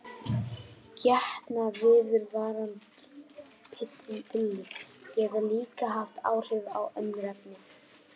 Getnaðarvarnarpillur geta líka haft áhrif á önnur efni.